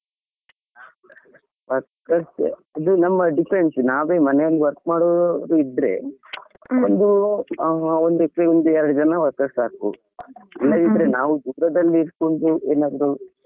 ಹಾ workers ಅದು depends ನಾವೇ ಮನೆಯಲ್ಲಿ work ಮಾಡುವವರು ಅಂತಾ ಇದ್ರೆ ಒಂದ್ acre ಗೆ ಒಂದ್ ಎರಡು ಜನಾ workers ಸಾಕು ಇಲ್ಲಾದಿದ್ರೆ ನಾವು ದೂರದಲ್ಲಿ ಇದ್ಕೊಂಡು ಏನಾದ್ರು .